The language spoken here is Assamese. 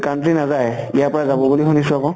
country নাযায়। ইয়াৰ পৰা যাব বুলি শুনিছো আকৌ।